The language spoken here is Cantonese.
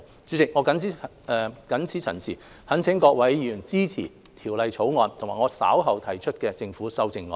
主席，我謹此陳辭，懇請各位議員支持《條例草案》及我稍後提出的政府修正案。